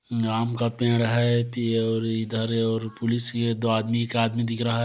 आम का पेड़ है पि और इधर और पुलिस ये दो आदमी का आदमी दिख रहा है।